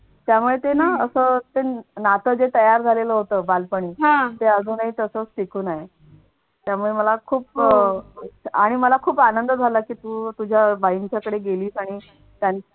त्यामुळे ते ना असं नातं तयार झालेलं होतं बालपणी ते अजूनही तसच टिकून आहे. त्यामुळे मला खूप अह आणि मला खूप आनंद झाला की तू तू तुझ्या बाईंच्याकडे गेलीस आणि त्यां